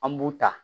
An b'u ta